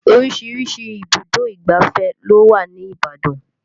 Oríṣiríṣi ibùdó ìgbáfẹ́ ló wà ní Ibadan